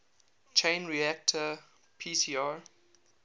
chain reaction pcr